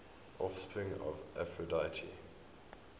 offspring of aphrodite